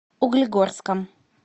углегорском